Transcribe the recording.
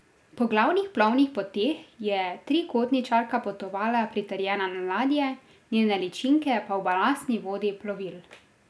Po glavnih plovnih poteh je trikotničarka potovala pritrjena na ladje, njene ličinke pa v balastni vodi plovil.